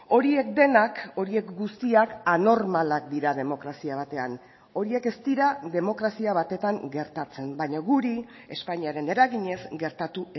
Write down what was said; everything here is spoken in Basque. horiek denak horiek guztiak anormalak dira demokrazia batean horiek ez dira demokrazia batetan gertatzen baina guri espainiaren eraginez gertatu